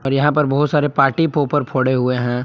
और यहां पर बहुत सारे पार्टी पोपर फोड़े हुए है।